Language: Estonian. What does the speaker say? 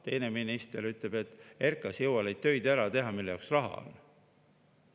Teine minister ütles, et RKAS ei jõua neid töid ära teha, mille jaoks raha on.